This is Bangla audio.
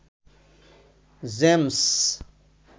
জেমস